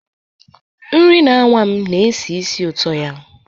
Nri na-anwa m na-esi ísì ụtọ ya.